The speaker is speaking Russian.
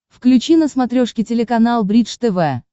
включи на смотрешке телеканал бридж тв